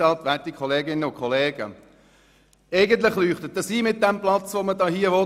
Eigentlich leuchtet es ein mit dem gewollten Platz.